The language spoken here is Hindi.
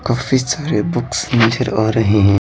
काफी सारे बुक्स नजर आ रहे हैं।